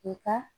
I ka